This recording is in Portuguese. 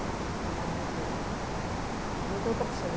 Quando foi um dia eu falei olha, não tenho outra opção.